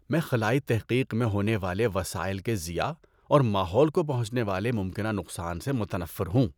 میں خلائی تحقیق میں ہونے والے وسائل کے ضیاع اور ماحول کو پہنچنے والے ممکنہ نقصان سے متنفر ہوں۔